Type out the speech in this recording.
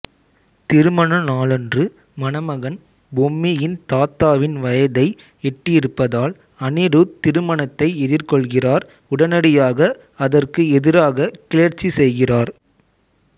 திருமண நாளன்று மணமகன் பொம்மியின் தாத்தாவின் வயதை எட்டியிருப்பதால் அனிருத் திருமணத்தை எதிர்கொள்கிறார் உடனடியாக அதற்கு எதிராக கிளர்ச்சி செய்கிறார்